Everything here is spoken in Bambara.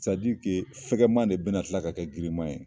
fɛkɛma de bɛna tila ka kɛ girinma ye.